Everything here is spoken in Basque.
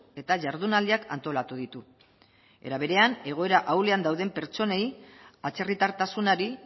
eta jardunaldiak antolatu ditu era berean egoera ahulean dauden pertsonei atzerritartasunari